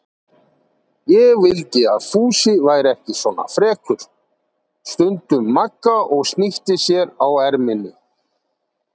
Ég vildi að Fúsi væri ekki svona frekur, stundi Magga og snýtti sér á erminni.